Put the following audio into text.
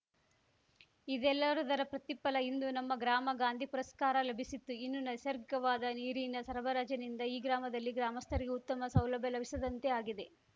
ಇದೆಲ್ಲದರ ಪ್ರತಿಫಲ ಇಂದು ನಮ್ಮ ಗ್ರಾಮ ಗಾಂಧಿ ಪುರಸ್ಕಾರ ಲಭಿಸಿತ್ತು ಇನ್ನು ನೈಸರ್ಗವಾದ ನೀರಿನ ಸರಬರಾಜಿನಿಂದ ಈ ಗ್ರಾಮದಲ್ಲಿ ಗ್ರಾಮಸ್ಥರಿಗೆ ಉತ್ತಮ ಸೌಲಭ್ಯ ಲಭಿಸಿದಂತೆ ಆಗಿದೆ